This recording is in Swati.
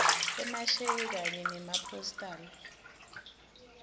emasheke kanye nemapostal